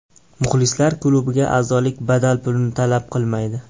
Muxlislar klubiga azolik badal pulini talab qilmaydi.